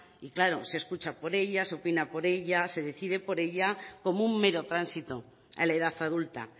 y claro se escucha por ella se opina por ella se decide por ella como un mero tránsito a la edad adulta